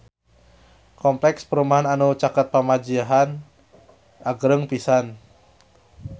Kompleks perumahan anu caket Pamijahan agreng pisan